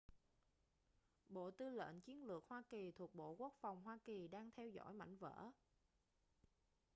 bộ tư lệnh chiến lược hoa kỳ thuộc bộ quốc phòng hoa kỳ đang theo dõi mảnh vỡ